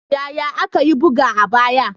Yaya aka yi buga a baya?